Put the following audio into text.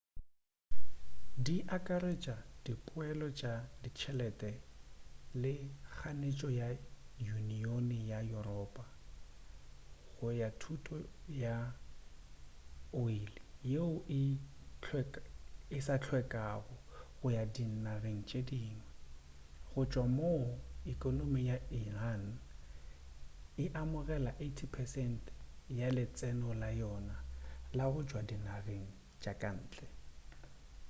di akaretša dipeelo tša ditšhelete le kganetšo ka yuniyoni ya yuropa go ga thoto ya oli yeo e sa hlwekago go ya dinageng tše dingwe go tšwa moo ekonomi ya iran e amogelago 80% ya letseno la yona la go tšwa dinageng tša kantle